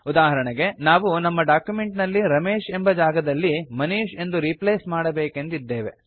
ಉದಾಹರಣೆಗೆ ನಾವು ನಮ್ಮ ಡಾಕ್ಯುಮೆಂಟ್ ನಲ್ಲಿ ರಮೇಶ್ ಎಂಬ ಜಾಗದಲ್ಲಿ ಮನೀಶ್ ಎಂದು ರೀಪ್ಲೇಸ್ ಮಾಡಬೇಕೆಂದಿದ್ದೇವೆ